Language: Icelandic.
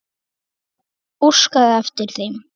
Óskaði eftir þeim?